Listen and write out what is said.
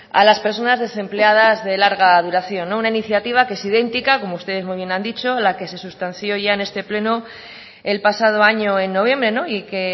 a las personas desempleadas de larga duración una iniciativa que es idéntica como ustedes muy bien han dicho la que se sustanció ya en este pleno el pasado año en noviembre y que